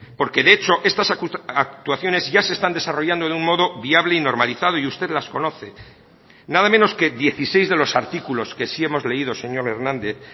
porque de hecho estas actuaciones ya se están desarrollando de un modo viable y normalizado y usted las conoce nada menos que dieciséis de los artículos que sí hemos leído señor hernández